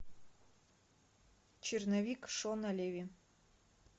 черновик шона леви